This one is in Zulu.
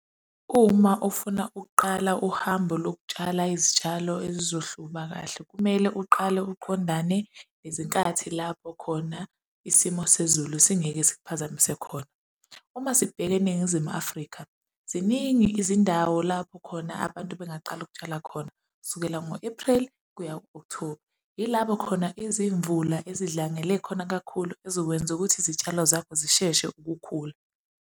Uma ufuna ukuqala uhambo lokutshala izitshalo ezizohluma kahle, kumele uqale uqondane nezinkathi lapho khona isimo sezulu singeke sikuphazamise khona. Uma sibheka eNingizimu Afrika, ziningi izindawo lapho khona abantu bengaqala ukutshala khona, sukela ngo-April kuya ku-October, ilabo khona izimvula ezidlangele khona kakhulu ezokwenza ukuthi izitshalo zakho zisheshe ukukhula.